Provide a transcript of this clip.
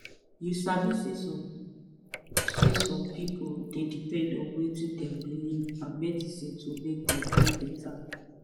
you sabi saysome saysome pipu dey depend on wetin dem believe and medicine to make dem dey beta